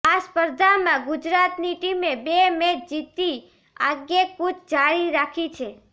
આ સ્પર્ધામાં ગુજરાતની ટીમે બે મેચ જીતી આગૈકૂચ જારી રાખી છે